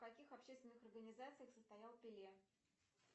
в каких общественных организациях состоял пеле